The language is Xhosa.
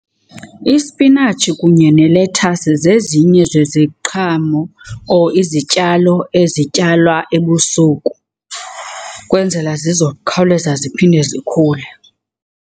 Isipinatshi kunye nelethasi zezinye zeziqhamo or izityalo ezityalwa ebusuku kwenzela zizokhawuleza ziphinde zikhule.